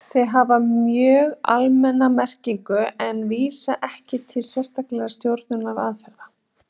Þau hafa mjög almenna merkingu en vísa ekki til sérstakra stjórnunaraðferða.